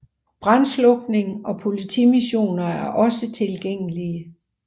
Brandslukning og politimissioner er også tilgængelige